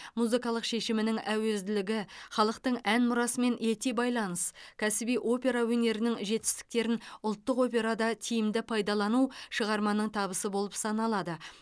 музыкалық шешімінің әуезділігі халықтың ән мұрасымен ете байланыс кәсіби опера өнерінің жетістіктерін ұлттық операда тиімді пайдалану шығарманың табысы болып саналады